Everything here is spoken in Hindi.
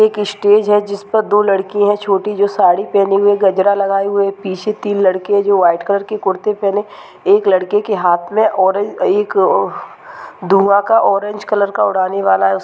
एक स्टेज है जिस पर दो लड़की हैं छोटी जो साड़ी पहने हुए गजरा लगाए हुए पीछे तीन लड़के जो वाइट कलर के कुर्ते पहने एक लड़के के हाथ में ऑरे एक आ धुआँ का ऑरेंज कलर का उड़ाने वाला है उस --